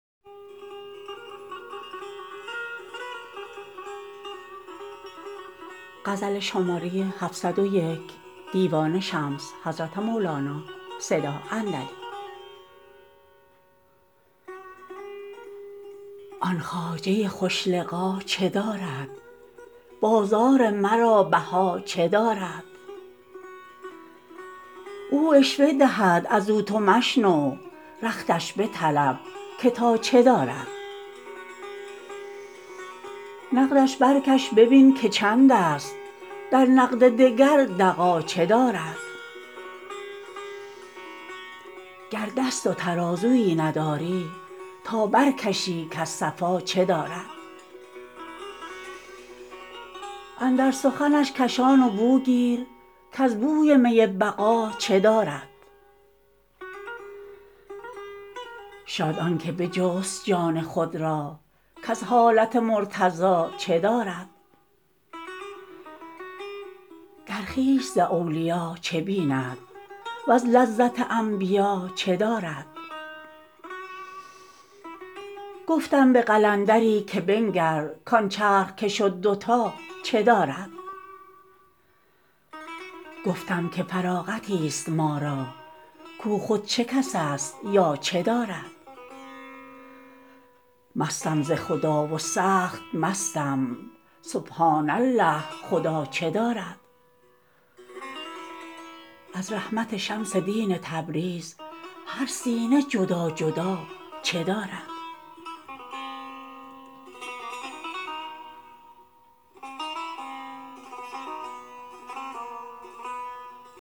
آن خواجه خوش لقا چه دارد بازار مرا بها چه دارد او عشوه دهد از او تو مشنو رختش بطلب که تا چه دارد نقدش برکش ببین که چندست در نقد دگر دغا چه دارد گر دست و ترازوی نداری تا برکشی کز صفا چه دارد اندر سخنش کشان و بو گیر کز بوی می بقا چه دارد شاد آن که بجست جان خود را کز حالت مرتضا چه دارد در خویش ز اولیا چه بیند وز لذت انبیا چه دارد گفتم به قلندری که بنگر کان چرخ که شد دوتا چه دارد گفتا که فراغتیست ما را کو خود چه کس است یا چه دارد مستم ز خدا و سخت مستم سبحان الله خدا چه دارد از رحمت شمس دین تبریز هر سینه جدا جدا چه دارد